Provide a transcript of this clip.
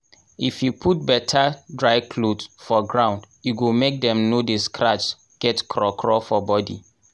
if you put better dry cloth for ground e go make dem no dey scratch get craw craw for body